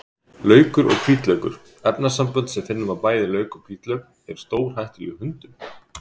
Laukur og hvítlaukur: Efnasambönd sem finna má í bæði lauk og hvítlauk eru stórhættuleg hundum.